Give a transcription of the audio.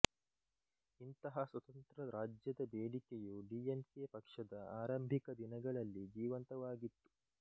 ಇಂತಹ ಸ್ವತಂತ್ರ ರಾಜ್ಯದ ಬೇಡಿಕೆಯು ಡಿಎಂಕೆ ಪಕ್ಷದ ಆರಂಭಿಕ ದಿನಗಳಲ್ಲಿ ಜೀವಂತವಾಗಿತ್ತು